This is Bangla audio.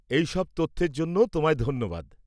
এই সব তথ্যের জন্য তোমায় ধন্যবাদ।